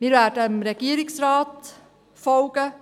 Wir werden dem Regierungsrat folgen.